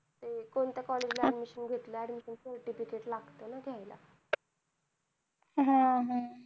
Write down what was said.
कोणत्या college ला admission घेतलं admissioncertificate लागत ना घ्याला हम्म हम्म